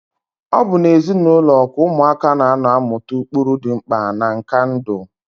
Ọ bụ n'ezinaụlọ ka ụmụaka na-anọ amụta ụkpụrụ dị mkpa na nka ndụ.